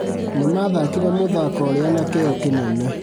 Nĩmathakire mũthako ũrĩa na kĩyo kĩnene